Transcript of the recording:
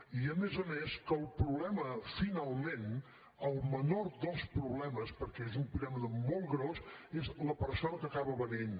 i a més a més que el problema finalment el menor dels problemes perquè és una piràmide molt grossa és la persona que acaba venent